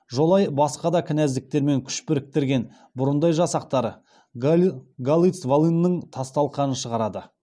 жолай басқа да кінәздіктермен күш біріктірген бұрындай жасақтары галиц волынның тас талқаның шығарады